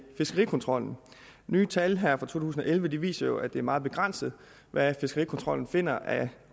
fiskerikontrollen nye tal her fra to tusind og elleve viser jo at det er meget begrænset hvad fiskerikontrollen finder af